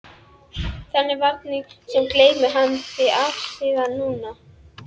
Þennan varning sinn geymir hann því afsíðis nú.